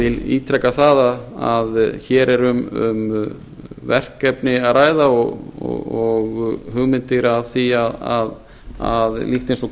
vil ítreka það að hér er um verkefni að ræða og hugmyndir að því líkt eins og